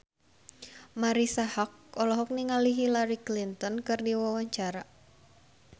Marisa Haque olohok ningali Hillary Clinton keur diwawancara